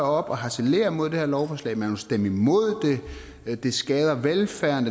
og harcelerer mod det her lovforslag man vil stemme imod det det skader velfærden